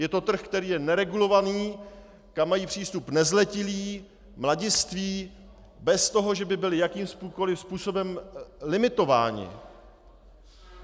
Je to trh, který je neregulovaný, kam mají přístup nezletilí, mladiství, bez toho, že by byli jakýmkoliv způsobem limitováni.